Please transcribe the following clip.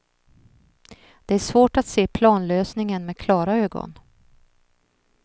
Det är svårt att se planlösningen med klara ögon.